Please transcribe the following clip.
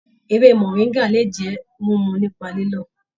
Ewé moringa le jẹ mímú nípa lílọ.